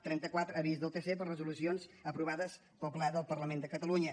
trenta quatre avís del tc per resolucions aprovades pel ple del parlament de catalunya